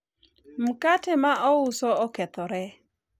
mkate mouso okethore